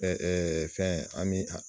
fɛn an bi